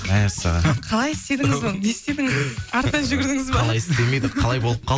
мәссаған қалай істедіңіз оны не істедіңіз артынан жүгірдіңіз ба қалай істемейді қалай болып